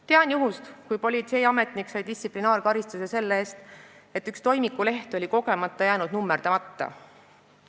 Tean juhtumit, kui politseiametnik sai distsiplinaarkaristuse selle eest, et üks toimiku leht oli kogemata jäänud nummerdamata.